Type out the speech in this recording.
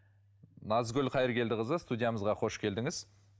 назгүл қайыргелдіқызы студиямызға қош келдіңіз